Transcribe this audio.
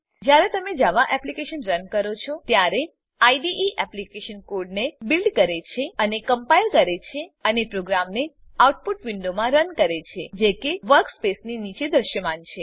જ્યારે તમે Java application run કરો છો ત્યારે આઇડીઇ એપ્લીકેશન કોડને બીલ્ડ કરે છે અને કમ્પાઈલ કરે છે અને પ્રોગ્રામને આઉટપુટ વિન્ડોમાં રન કરે છે જે કે વર્કસ્પેસની નીચે દૃશ્યમાન થાય છે